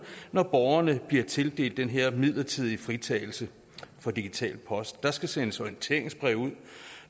når borgerne bliver tildelt den her midlertidige fritagelse for digital post der skal sendes orienteringsbrev ud